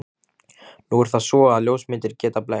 Nú er það svo, að ljósmyndir geta blekkt.